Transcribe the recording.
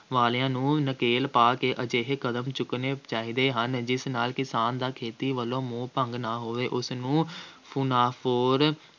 ਵਾਲਿਆਂ ਨੂੰ ਨਕੇਲ ਪਾ ਕੇ ਅਜਿਹੇ ਕਦਮ ਚੁੱਕਣੇ ਚਾਹੀਦੇ ਹਨ ਜਿਸ ਨਾਲ ਕਿਸਾਨ ਦਾ ਖੇਤੀ ਵੱਲੋਂ ਮੋਹ ਭੰਗ ਨਾ ਹੋਵੇ, ਉਸਨੂੰ ਮੁਨਾਫਾਖੋਰ